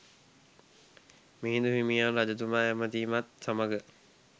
මිහිඳු හිමියන් රජතුමා ඇමතීමත් සමග